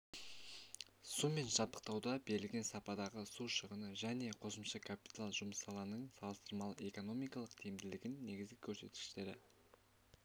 сумен жабдықтауда берілген сападағы су шығыны және қосымша капитал жұмсалының салыстырмалы экономикалық тиімділігінің негізгі көрсеткіштері